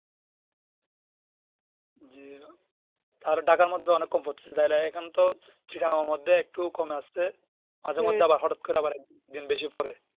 জি আর ঢাকার মধ্যে অনেক কম পড়তেছে এখানে তো চিয়ার মতো কমে আসছে মাঝে মধ্যে আবার হঠাৎ করে আবার একদিন বেশি পরে